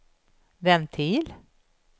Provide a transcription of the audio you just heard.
ventil